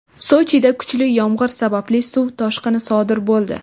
Sochida kuchli yomgʼir sababli suv toshqini sodir boʼldi.